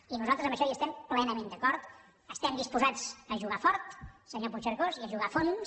i nosaltres en això hi estem plenament d’acord estem disposats a jugar fort senyor puigcercós i a jugar a fons